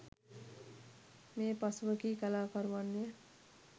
මේ පසුව කී කලාකරුවන් ය